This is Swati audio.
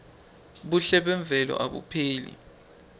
buhle memvelo abupheli